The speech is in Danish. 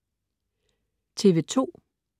TV2: